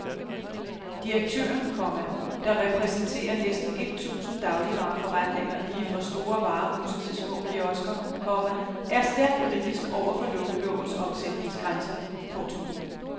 Direktøren, komma der repræsenterer næsten et tusind dagligvareforretninger lige fra store varehuse til små kiosker, komma er stærkt kritisk over for lukkelovens omsætningsgrænse. punktum